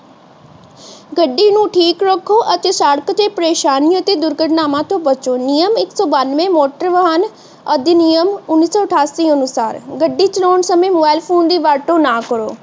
ਗੱਡੀ ਨੂੰ ਠੀਕ ਰੱਖੋ ਅਤੇ ਸੜਕ ਤੇ ਪਰੇਸ਼ਾਨੀ ਅਤੇ ਦੁਰਘਟਨਾਵਾਂ ਤੋਂ ਬਚੋ। ਨਿਯਮ ਇੱਕ ਸੌ ਬੱਨਵੇ ਮੋਟਰ ਵਾਹਨ ਅਧਿਨਿਯਮ ਉੱਨੀ ਸੌ ਅਠਾਸੀ ਅਨੁਸਾਰ ਗੱਡੀ ਚਲਾਉਣ ਸਮੇਂ ਮੋਬਾਈਲ ਫੋਨ ਦੀ ਵਰਤੋਂ ਨਾ ਕਰੋ